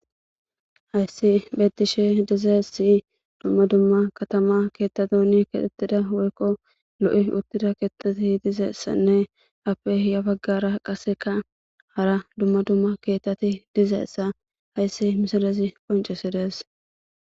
hayssi betishe dizaessi dumma dumma katama keettato ni kexettida woykko lo7i uttida keettati dizeessanne appe hiya baggara qaseka hara dumma dumma keettati dizeessa hayssi misalazi qoncesi dees